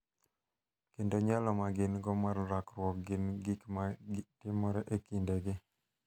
Kendo nyalo ma gin go mar rakruok gi gik ma timore e kindegi.